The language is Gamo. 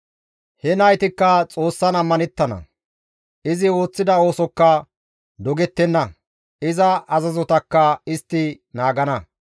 He naytikka Xoossan ammanettana; izi ooththida oosokka dogettenna; iza azazotakka istti naagana.